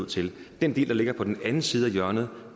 ud til den del der ligger på den anden side af hjørnet